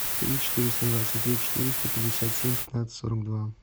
три четыреста двадцать три четыреста пятьдесят семь пятнадцать сорок два